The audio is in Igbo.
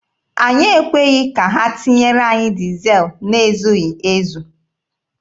Anyị ekweghị ka ha tinyere anyị dizel na-ezughị ezu.